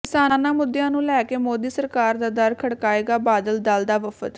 ਕਿਸਾਨਾਂ ਮੁੱਦਿਆਂ ਨੂੰ ਲੈਕੇ ਮੋਦੀ ਸਰਕਾਰ ਦਾ ਦਰ ਖੜਕਾਏਗਾ ਬਾਦਲ ਦਲ ਦਾ ਵਫ਼ਦ